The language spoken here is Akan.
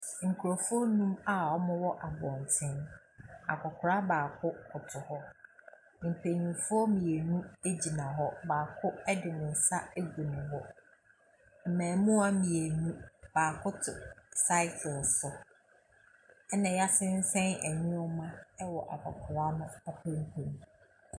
Nkrɔfoɔ a wɔwɔ abɔnten. Akwakora baako koto hɔ. Mpanimfo gyina hɔ. Baako de ne nsa agu ne bo. Mmaamuwaa mmienu, baako te cycle so. Ɛna yɛasesan nneɛma wɔ akwakora no ataadeɛ mu.